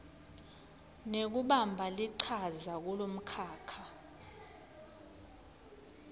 nekubamba lichaza kulomkhakha